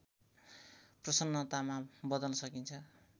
प्रसन्नतामा बदल्न सकिन्छ